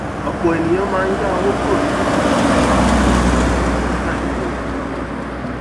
ọpọ ènìyàn máa ń yá owó kúrò nínú àkáńtì ifowópamọ wọn nígbà ìnáwó pajawiri